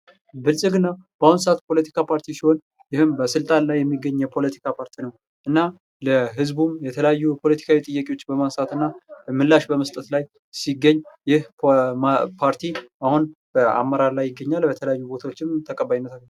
ብልጽግና በአሁን ሰዓት ፖለቲካ ፓርቲ ሲሆን፤ ይህም በስልጣን ላይ የሚገኝ የፖለቲካ ፓርቲ ነው። እና ለሕዝቡ የተለያዩ ፖለቲካዊ ጥያቄዎችን በማንሳት እና ምላሽ በመስጠት ላይ ሲገኝ ይህ ፓርቲ አሁን በአመራር ላይ ይገኛል። በተለያዩ ቦታዎችም ተቀባይነት አግኝቷል።